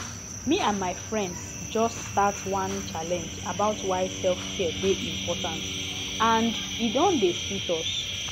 me and my friends just start one challenge about why selfcare dey important and e don dey sweet us